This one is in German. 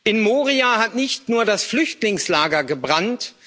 In Moria hat nicht nur das Flüchtlingslager gebrannt.